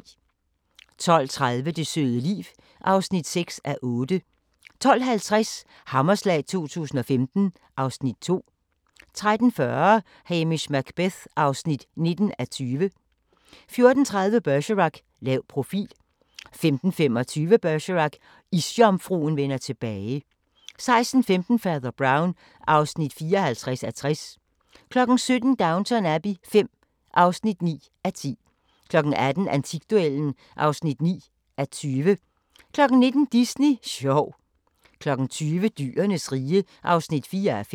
12:30: Det søde liv (6:8) 12:50: Hammerslag 2015 (Afs. 2) 13:40: Hamish Macbeth (19:20) 14:30: Bergerac: Lav profil 15:25: Bergerac: Isjomfruen vender tilbage 16:15: Fader Brown (54:60) 17:00: Downton Abbey V (9:10) 18:00: Antikduellen (9:20) 19:00: Disney sjov 20:00: Dyrenes rige (4:5)